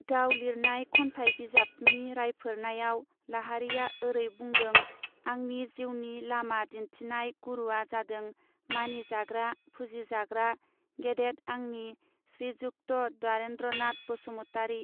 गाव लिरनाय खन्थाइ बिजाब नि रायफोर नायाबव लाहारीया ओरै बुंदौं आंनि जीउनि लामा दिन्थिनाय गुरूवा जादों मानिजाग्रा फुजिजाग्रा गेदेद आंनि श्रीयुक्त दुारेन्द्रनाथ बसुमतारी.